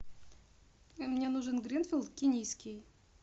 мне нужен гринфилд кенийский